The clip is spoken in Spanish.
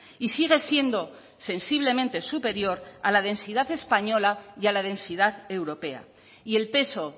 y sigue siendo sensiblemente superior a la densidad española y a la densidad europea y el peso